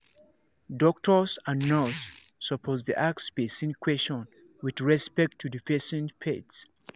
doctors and nurse supposed dey ask person question with respect to the person faith